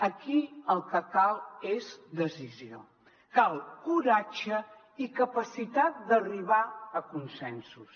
aquí el que cal és decisió cal coratge i capacitat d’arribar a consensos